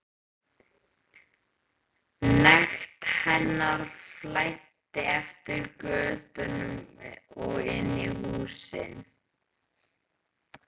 Nekt hennar flæddi eftir götunum og inn í húsin.